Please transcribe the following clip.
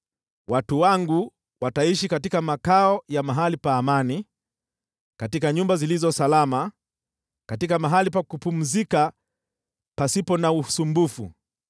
Watu wangu wataishi katika makao ya mahali pa amani, katika nyumba zilizo salama, katika mahali pa kupumzika pasipo na usumbufu.